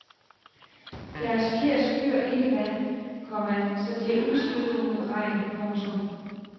Deres fjer skyr ikke vand, komma så de er ubeskyttede mod regn. punktum